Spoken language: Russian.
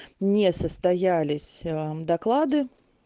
не состоялись доклады